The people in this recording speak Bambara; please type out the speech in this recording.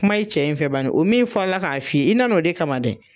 Kuma i cɛ in fɛ bani, o min fɔlɔla k'a f'i ye, i nan'o de kama dɛ.